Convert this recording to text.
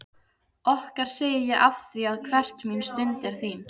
Okkar segi ég afþvíað hver mín stund er þín.